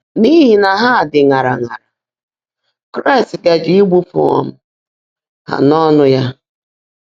N’ihi na ha dị ṅara ṅara, Kraịst gaje ịgbụpụ um ha n’ọnụ ya.